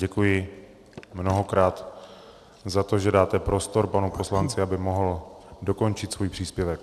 Děkuji mnohokrát za to, že dáte prostor panu poslanci, aby mohl dokončit svůj příspěvek.